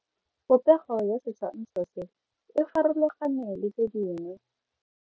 Popego ya setshwantsho se, e farologane le tse dingwe.